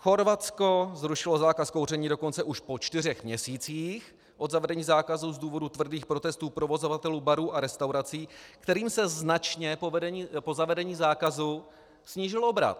Chorvatsko zrušilo zákaz kouření dokonce už po čtyřech měsících od zavedení zákazu z důvodu tvrdých protestů provozovatelů barů a restaurací, kterým se značně po zavedení zákazu snížil obrat.